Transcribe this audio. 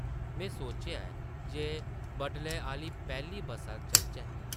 में सोचेआ ऐ जे बडले आह्ली पैह्ली बस्सा चलचै ।